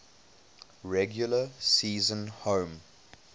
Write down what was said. regular season home